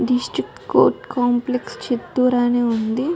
District court complex Chittoor అని ఉంది.